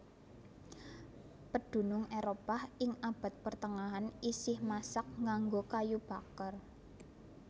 Pedunung Éropah ing abad pertengahan isih masak nganggo kayu baker